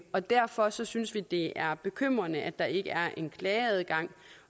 og derfor synes synes vi det er bekymrende at der ikke er en klageadgang